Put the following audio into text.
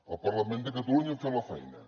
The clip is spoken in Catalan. el parlament de catalunya ha fet la feina